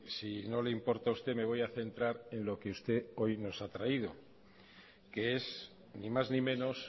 si no le importa a usted me voy a centrar en lo que usted hoy nos ha traído que es ni más ni menos